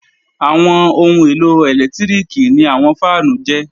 Àwọn ohun èlò ẹlẹ́lẹtíríkì ni àwọn fáànù jẹ́